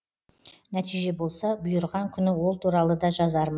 нәтиже болса бұйырған күні ол туралы да жазармын